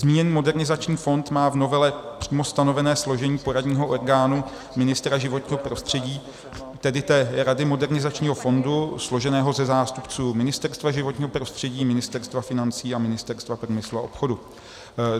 Zmíněný modernizační fond má v novele přímo stanovené složení poradního orgánu ministra životního prostředí, tedy té rady modernizačního fondu, složeného ze zástupců Ministerstva životního prostředí, Ministerstva financí a Ministerstva průmyslu a obchodu.